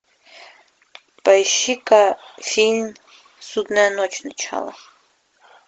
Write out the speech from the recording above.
поищи ка фильм судная ночь начало